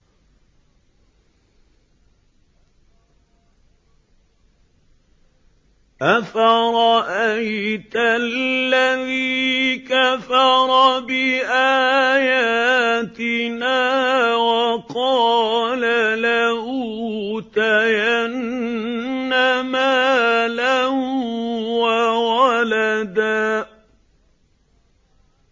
أَفَرَأَيْتَ الَّذِي كَفَرَ بِآيَاتِنَا وَقَالَ لَأُوتَيَنَّ مَالًا وَوَلَدًا